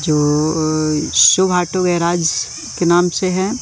जो अह शुभ ऑटो के नाम से है।